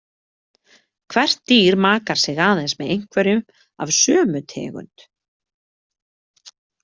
Hvert dýr makar sig aðeins með einhverjum af sömu tegund.